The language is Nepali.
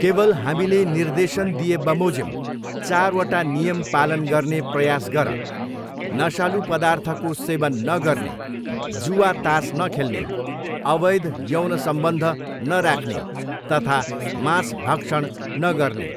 केवल हामीले निर्देशन दिएबमोजिम चारवटा नियम पालन गर्ने प्रयास गर, नशालु पदार्थको सेवन नगर्ने जुवातास नखेल्ने अवैध यौन सम्बन्ध नराख्ने तथा मांस भक्षण नगर्ने।